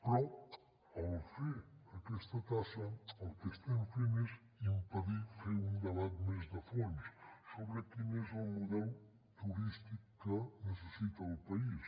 però al fer aquesta taxa el que estem fent és impedir fer un debat més de fons sobre quin és el model turístic que necessita el país